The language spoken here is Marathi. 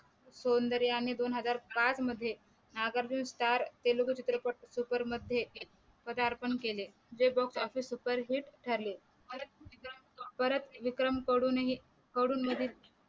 सौदर्य आणि दोन हजार पाच मध्ये नागार्जुन स्टार तेलगू चित्रपट सुपर मध्ये पदार्पण केले जे Boxoffice hit ठरले परत विक्रम कडून हि कडून